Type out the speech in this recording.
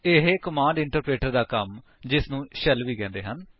ਇਹ command interpreter ਦਾ ਕੰਮ ਜਿਸਨੂੰ ਸ਼ੈਲ ਵੀ ਕਹਿੰਦੇ ਹਨ